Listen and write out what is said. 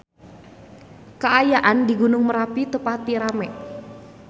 Kaayaan di Gunung Merapi teu pati rame